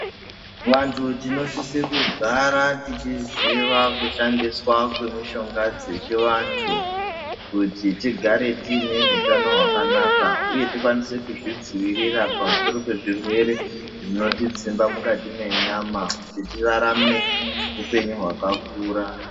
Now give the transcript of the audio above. Vantu tinosise kugara tichiziva kushandiswa kwemishonga dzechivantu, kuti tigare tiine utano hwakanaka, uye tikwanise kuzvidziirira pamusoro pezvirwere zvinotidzimba mukati menyama ,kuti tirarame upenyu hwakakura.